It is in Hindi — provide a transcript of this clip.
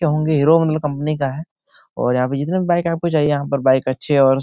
हीरो के कंपनी का है और यहाँ पे जितने भी बाइक आपको चाहिए यहाँ पे बाइक अच्छे और --